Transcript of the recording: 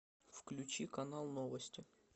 включи канал новости